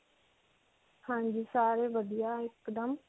ਹਾਂਜੀ. ਸਾਰੇ ਵਧੀਆ ਇੱਕਦਮ.